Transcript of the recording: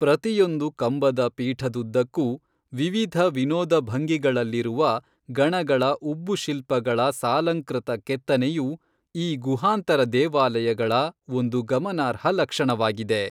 ಪ್ರತಿಯೊಂದು ಕಂಬದ ಪೀಠದುದ್ದಕ್ಕೂ ವಿವಿಧ ವಿನೋದ ಭಂಗಿಗಳಲ್ಲಿರುವ ಗಣಗಳ ಉಬ್ಬುಶಿಲ್ಪಗಳ ಸಾಲಂಕೃತ ಕೆತ್ತನೆಯು ಈ ಗುಹಾಂತರ ದೇವಾಲಯಗಳ ಒಂದು ಗಮನಾರ್ಹ ಲಕ್ಷಣವಾಗಿದೆ.